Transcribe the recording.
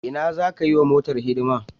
A Ina za ka yi wa motar hidima?